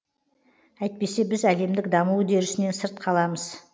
әйтпесе біз әлемдік даму үдерісінен сырт қаламыз